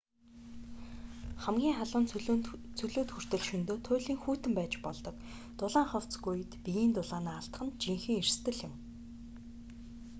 хамгийн халуун цөлүүд хүртэл шөнөдөө туйлын хүйтэн байж болдог дулаан хувцасгүй үед биеийн дулаанаа алдах нь жинхэнэ эрсдэл юм